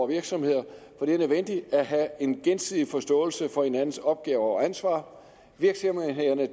virksomheder for det er nødvendigt at have en gensidig forståelse for hinandens opgaver og ansvar virksomhederne